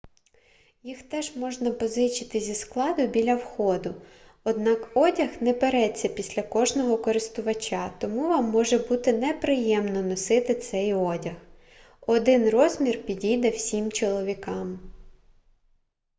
їх теж можна позичити зі складу біля входу однак одяг не переться після кожного користувача тому вам може бути неприємно носити цей одяг один розмір підійде всім чоловікам